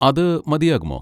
അത് മതിയാകുമോ?